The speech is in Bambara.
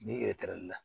Ni la